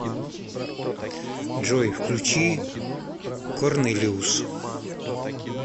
джой включи корнелиус